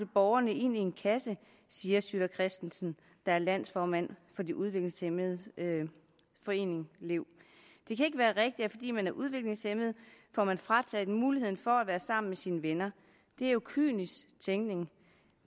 borgerne ind i en kasse siger sytter kristensen der er landsformand for de udviklingshæmmedes forening lev det kan ikke være rigtigt at fordi man er udviklingshæmmet får man frataget muligheden for at være sammen med sine venner det er jo kynisk tænkning